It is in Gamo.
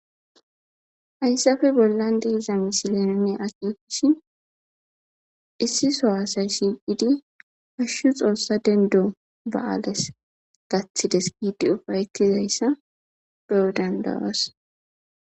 Haysape bolan di'za missilen nuni akekishini issi so asay shiqidi hashu xosa dendo ba'ales gatides gidi ufaytidaysa be'o danda'os.